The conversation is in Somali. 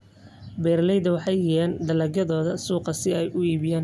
Beeraleydu waxay geeyaan dalagyadooda suuqa si ay u iibgeeyaan.